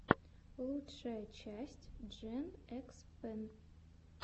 лучшая часть джен экс пен